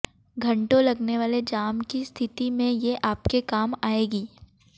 घंटों लगने वाले जाम की स्थिति में ये आपके काम आयेंगी